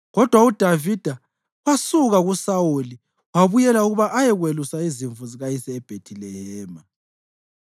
kodwa uDavida wasuka kuSawuli wabuyela ukuba ayekwelusa izimvu zikayise eBhethilehema.